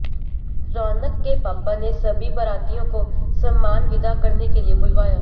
रौनक के पापा ने सभी बारातियों को ससम्मान विदा करने के लिए बुलवाया